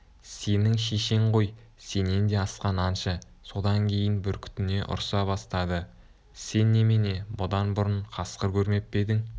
сенің шешең ғой сенен де асқан аңшы содан кейін бүркітіне ұрса бастады сен немене бұдан бұрын қасқыр көрмеп пе едің